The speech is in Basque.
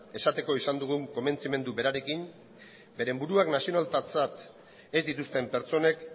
esateko izan dugun konbentzimendu berarekin beren buruak nazionaltatzat ez dituzten pertsonek